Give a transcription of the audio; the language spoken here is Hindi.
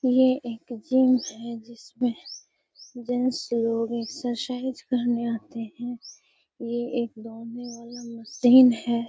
ये एक जिम है। जिसमे जेन्ट्स लोग एक्सरसाइज करने आते हैं। ये एक दौड़ने वाला मशीन है।